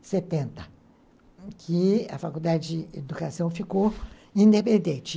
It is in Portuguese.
setenta, que a faculdade de educação ficou independente.